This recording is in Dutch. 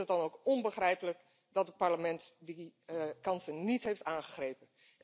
Ik vind het dan ook onbegrijpelijk dat het Parlement die kansen niet heeft aangegrepen.